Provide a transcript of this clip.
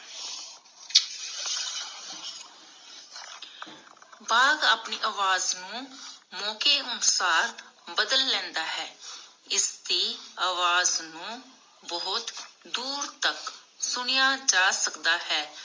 ਬਾਘ ਅਪਣੀ ਆਵਾਜ਼ ਨੂੰ ਮੌਕੇ ਅਨੁਸਾਰ ਬਦਲ ਲੈਂਦਾ ਹੈ, ਇਸਦੀ ਆਵਾਜ਼ ਨੂੰ ਬਹੁਤ ਦੂਰ ਤਕ ਸੁਣਿਆ ਜਾ ਸਕਦਾ ਹੈ.